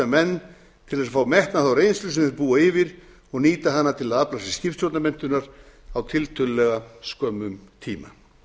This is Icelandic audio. menn til þess að fá metna þá reynslu sem þeir búa yfir og nýta hana til að afla sér skipstjórnarmenntunar á tiltölulega skömmum tíma